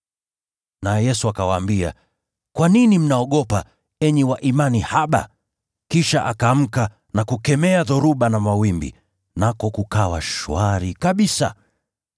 Naye Yesu akawaambia, “Kwa nini mnaogopa, enyi wa imani haba?” Kisha akaamka na kukemea dhoruba na mawimbi, nako kukawa shwari kabisa.